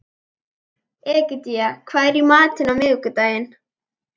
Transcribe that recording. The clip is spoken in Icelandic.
Egedía, hvað er í matinn á miðvikudaginn?